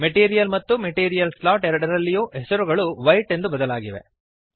material ಮತ್ತು material slot ಎರಡರಲ್ಲಿಯೂ ಹೆಸರುಗಳು ವೈಟ್ ಎಂದು ಬದಲಾಗಿವೆ